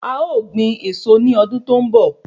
A ó gbin èso ní ọdún tó ń bọ̀